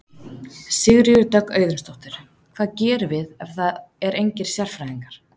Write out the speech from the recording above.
Sigríður Dögg Auðunsdóttir: Hvað gerum við ef það er engir sérfræðingar?